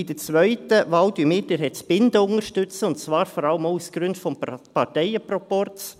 Bei der zweiten Wahl unterstützen wir Herrn Zbinden, und zwar vor allem auch aus Gründen des Parteienproporzes.